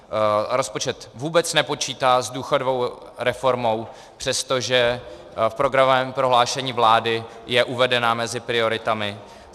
Rozpočet vůbec nepočítá s důchodovou reformou, přestože v programovém prohlášení vlády je uvedena mezi prioritami.